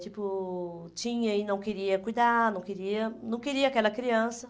Tipo, tinha e não queria cuidar, não queria... Não queria aquela criança.